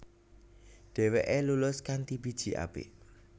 Dheweke lulus kanthi biji apik